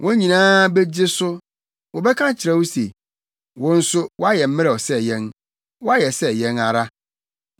Wɔn nyinaa begye so, wɔbɛka akyerɛ wo se, “Wo nso woayɛ mmerɛw sɛ yɛn; woayɛ sɛ yɛn ara.”